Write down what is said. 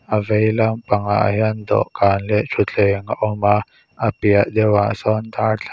a vei lam pangah hian dawhkan leh thuttheng a awm a a piah deuhah sawn darthla --